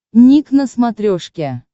ник на смотрешке